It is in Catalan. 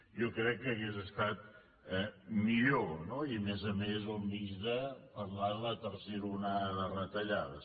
jo crec que hauria estat millor no i a més a més al mig de parlar de la tercera onada de retallades